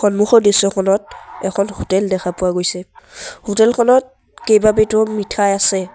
সন্মুখৰ দৃশ্যখনত এখন হোটেল দেখা পোৱা গৈছে হোটেল খনত কেইবাবিধো মিঠাই আছে।